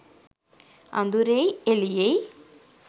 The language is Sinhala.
අඳුරෙයි එළියෙයි